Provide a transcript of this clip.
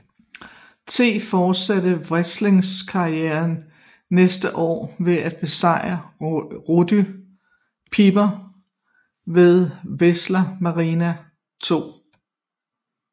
T fortsatte wrestlingkarrieren næste år ved at besejre Roddy Piper ved WrestleMania 2